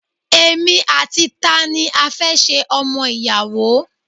Èmi àti tani a fẹ́ ṣe ọmọ ìyàwó!